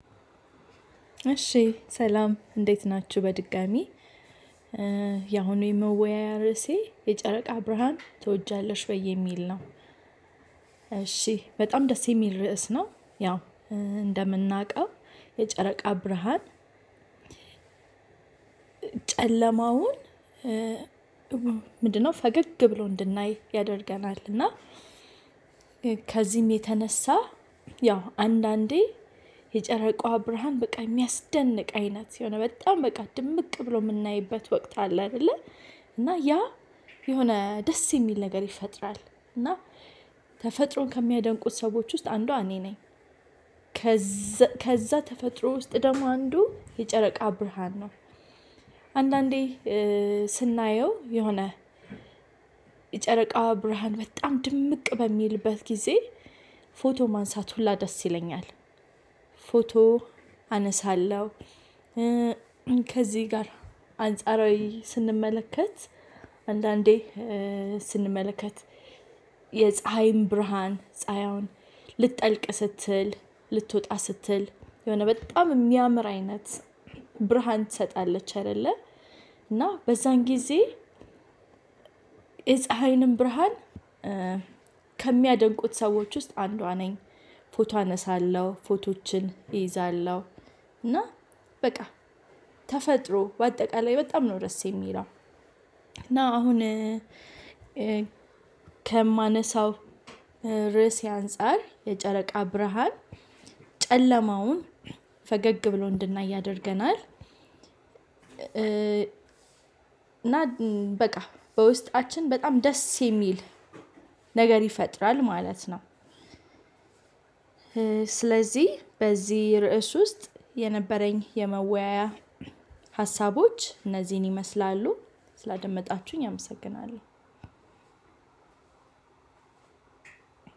እሺ ሰላም እንዴት ናችሁ በድጋሚ ያሁኑ የመወያያ ርዕሴ የጨረቃ ብርሃን ትወጃለሽ ወይ የሚል ነው? እሺ በጣም ደስ የሚል ርዕስ ነው። ያው እንደምናውቀው የጨረቃ ብርሃን። ጨለማውን ምንድነው ፈገግ ብሎ እንድናይ ያደርገናል እና ከዚህም የተነሳ። ያው አንዳንዴ የጨረቃዋ ብርሃን በቃ የሚያስደንቅ አይነት የሆነ በጣም በቃ ድምቅ ብሎ ምናይበት ወቅት አለ። አይደለ እና ያ የሆነ ደስ የሚል ነገር ይፈጥራል። እና ተፈጥሮን ከሚያደንቁ ሰዎች ውስጥ አንዷ እኔ ነኝ። ከዛ ተፈጥሮ ውስጥ ደግሞ አንዱ የጨረቃ ብርሃን ነው። አንዳንዴ ስናየው የሆነ የጨረቃዋ ብርሃን በጣም ድምቅ በሚልበት ጊዜ ፎቶ ማንሳት ሁላ ደስ ይለኛል። ፎቶ አነሳለው። ከዚህ ጋር አንጻራዊ ስንመለከት። አንዳንዴ ስንመለከት የፀሀይም ብርሃን ፀሀይዋን ልትጠልቅ ስትል ልትወጣ ስትል የሆነ በጣም የሚያምር አይነት ብርሃን ትሰጣለች አይደለ። እና በዛን ጊዜ የፀሀይንም ብርሃን ከሚያደንቁት ሰዎች ውስጥ አንዷ ነኝ። ፎቶ አነሳለሁ ፎቶዎችን እይዛለሁ። እና በቃ ተፈጥሮ በአጠቃላይ በጣም ነው ደስ የሚለው። እና አሁን ከማነሳው ርዕሴ አንፃር የጨረቃ ብርሃን ጨለማውን ፈገግ ብሎ እንድናይ ያደርገናል። እና በቃ በውስጣችን በጣም ደስ የሚል ነገር ይፈጥራል ማለት ነው። ስለዚህ በዚህ ርዕስ ውስጥ የነበረኝ የመወያያ ሀሳቦች እነዚህን ይመስላሉ። ስላደመጣችሁኝ አመሰግናለሁ።